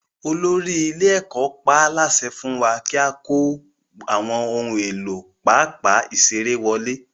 Olórí ilé-ẹ̀kọ́ pa á láṣẹ fún wa kí a kó àwọn ohun èlò pápá ìṣeré wọlé.